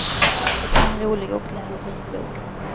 Det är en rolig och lärorik bok.